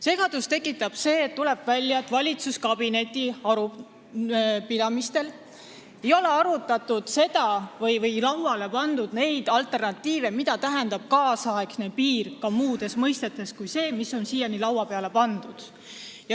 Segadust tekitab see, et nagu välja tuleb, ei ole valitsuskabineti arupidamistel otsitud alternatiive ega arutatud, mida tähendab tänapäevane piir muus mõttes kui see, mis on siiani laua peale pandud.